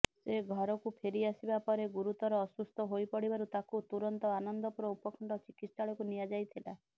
ସେ ଘରକୁ ଫେରିଆସିବା ପରେ ଗୁରୁତର ଅସୁସ୍ଥ ହୋଇପଡିବାରୁ ତାକୁ ତୁରନ୍ତ ଆନନ୍ଦପୁର ଉପଖଣ୍ଡ ଚିକିତ୍ସାଳୟକୁ ନିଆଯାଇଥିଲା